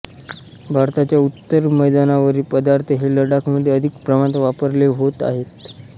भारताच्या उत्तर मैदानावरील पदार्थ हे लडाखमध्ये अधिक प्रमाणात वापरले होत आहेत